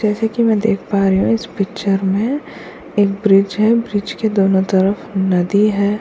जैसे कि मैं देख पा रही हूँ इस पिक्चर में एक ब्रिज है ब्रिज के दोनो तरफ़ नदी है।